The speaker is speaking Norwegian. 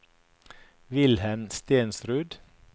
Wilhelm Stensrud